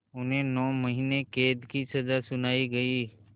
उन्हें नौ महीने क़ैद की सज़ा सुनाई गई